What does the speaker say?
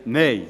Nein